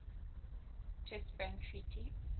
test ban treaty